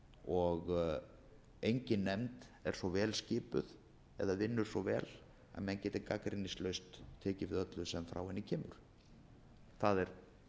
og engin nefnd er svo vel skipuð eða vinnur svo vel að menn geti gagnrýnislaust tekið við öllu sem frá henni kemur það er